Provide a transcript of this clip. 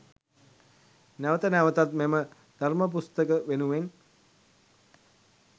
නැවත නැවතත් මෙම ධර්ම පුස්තක වෙනුවෙන්